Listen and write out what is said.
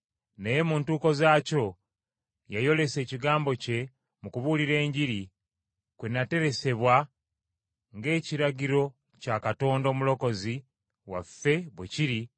naye mu ntuuko zaabyo, yayolesa ekigambo kye mu kubuulira Enjiri, kwe nateresebwa ng’ekiragiro kya Katonda Omulokozi waffe bwe kiri,